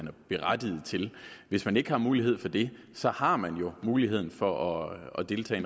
er berettiget til hvis man ikke har mulighed for det så har man jo muligheden for at deltage